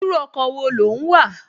Irú ọkọ̀ wo ló ń wà?